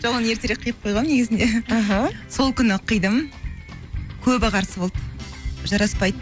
жоқ оны ертерек қиып қойғанмын негізінде іхі сол күні қидым көбі қарсы болды жараспайды